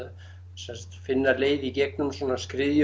sem sagt finna leið í gegnum